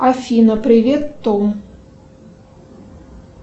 афина привет том